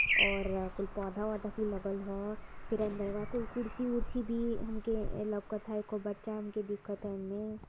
और कुल पौधा वोधा भी लगल ह| फिर अंदरवा कोई कुर्सी उर्सी भी हमके लोकत ह| एको बच्चा हमके दिखत ह एमे।